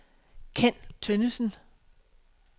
Ken Tønnesen